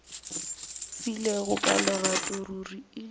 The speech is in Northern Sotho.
filego ka lerato ruri e